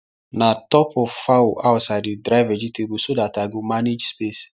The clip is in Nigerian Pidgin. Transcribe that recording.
na top of fowl house i dey dry vegetable so that i go manage space